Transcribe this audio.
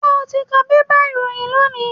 Ṣé o ti ka bébà ìròyìn lónìí?